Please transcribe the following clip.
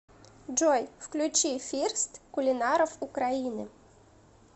джой включи фирст кулинаров украины